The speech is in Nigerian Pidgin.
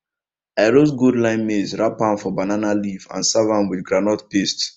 i roast gold line maize wrap am for banana leaf and serve am with groundnut paste